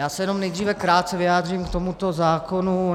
Já se jenom nejdříve krátce vyjádřím k tomuto zákonu.